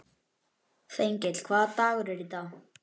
Þengill, hvaða dagur er í dag?